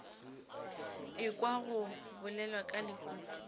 ekwa go bolelwa ka lehufa